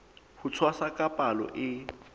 ho tshwasa ka palo e